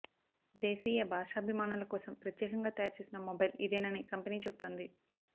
దేశీయ భాషాబిమానుల కోసం ప్రత్యేకంగా తయారుచేసిన మొబైల్ ఇదేనని కంపెనీ చెబుతోంది